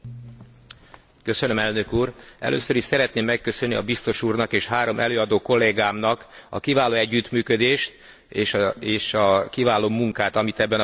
Először is szeretném megköszönni a biztos úrnak és három előadó kollégámnak a kiváló együttműködést és a kiváló munkát, amit ebben a nagyon fontos kérdésben elértek.